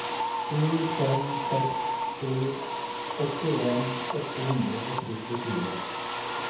sju fem seks sju åttien åtte hundre og syttifire